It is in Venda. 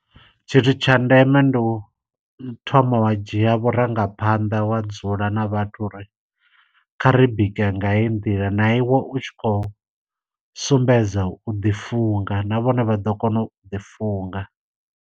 Tshithu tsha ndeme ndi u thoma wa dzhia vhurangaphanḓa wa dzula na vhathu uri, kha ri bika nga hei nḓila, na iwe u tshi khou sumbedza u ḓi funga na vhone vha ḓo kona u ḓi funga.